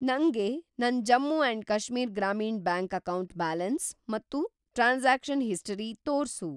ನಂಗೆ ನನ್‌ Jammu and Kashmir Grameen bank account balance ಮತ್ತು ಟ್ರಾನ್ಸಾಕ್ಷನ್ ಹಿಸ್ಟರಿ ತೋರ್ಸು.